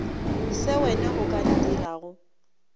se wena o ka ntirago